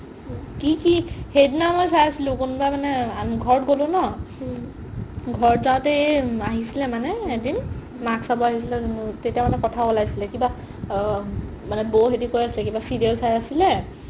কি কি সেইদিনা মই চাই আছিলো কোনবা মানে ঘৰত গ'লো ন ঘৰত যাওতে এই আহিছিলে মানে মাক চাব আহিছিলে তেতিয়া মানে কথা উলাইছিলে কিবা অ মানে বৌ হেতি কৈ আছিলে কিবা serial চাই আছিলে